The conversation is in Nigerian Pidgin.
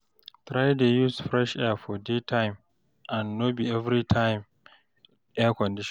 try dey use fresh air for daytime and no bi evritime air conditioner